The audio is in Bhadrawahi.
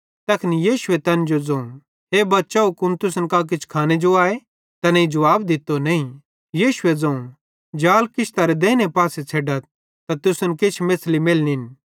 तैखन यीशुए तैन ज़ोवं हे बच्चव कुन तुसन कां किछ खाने जो आए तैनेईं जुवाब दित्तो नईं